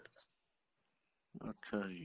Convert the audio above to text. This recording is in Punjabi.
ਅੱਛਾ ਜੀ